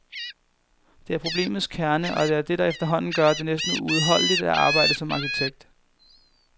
Det er problemets kerne, og det er det, der efterhånden gør det næsten uudholdeligt at arbejde som arkitekt.